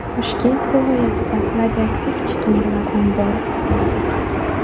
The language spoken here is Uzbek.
Toshkent viloyatida radioaktiv chiqindilar ombori quriladi.